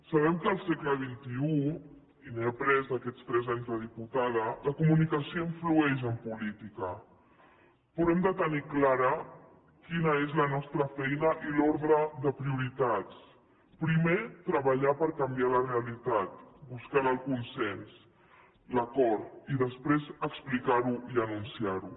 sabem que al segle xxitada la comunicació influeix en política però hem de tenir clara quina és la nostra feina i l’ordre de prioritats primer treballar per canviar la realitat buscant el consens l’acord i després explicarho i anunciarho